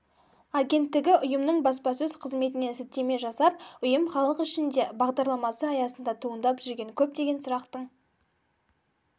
агенттігі ұйымның баспасөз қызметіне сілтеме жасап ұйым халық ішінде бағдарламасы аясында туындап жүрген көптеген сұрақтың